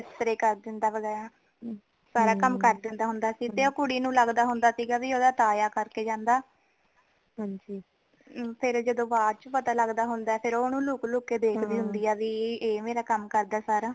ਬਿਸਤਰੇ ਕਰ ਦੇਂਦਾ ਹੈ ਵਗੈਰਾ ਸਾਰਾ ਕਮ ਕਰ ਦੇਂਦਾ ਹੁੰਦਾ ਹੈ ਫੇਰ ਤੇ ਓ ਕੁੜੀ ਨੂੰ ਲਗਦਾ ਹੁੰਦਾ ਸੀਗਾ ਕਿ ਓਦਾਂ ਤਾਯਾ ਕਰ ਕੇ ਜਾਂਦਾ ਫੇਰ ਜਦੋ ਬਾਅਦ ਚ ਪਤਾ ਲਗਦਾ ਹੁੰਦਾ ਹੈ ਤੇ ਫੇਰ ਓਨੁ ਲੁਕ ਲੁਕ ਕੇ ਦੇਖਦੀ ਹੁੰਦੀ ਹੈ ਭੀ ਏ ਮੇਰਾ ਕਮ ਕਰਦਾ ਹੁੰਦਾ ਹੈ ਸਾਰਾ